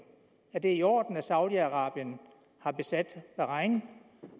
er det i orden at saudi arabien har besat bahrain